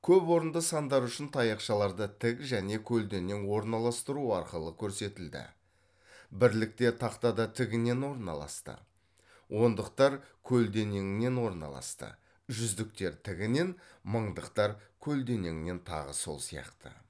көпорынды сандар үшін таяқшаларды тік және көлденең орналастыру арқылы көрсетілді бірліктер тақтада тігінен орналасты ондықтар көлденеңінен орналасты жүздіктер тігінен мыңдықтар көлденеңінен тағы сол сияқты